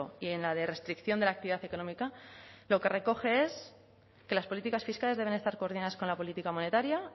y en la de restricción de la actividad económica lo que recoge que las políticas fiscales deben estar coordinadas con la política monetaria